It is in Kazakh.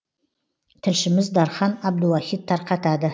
тілшіміз дархан абдуахит тарқатады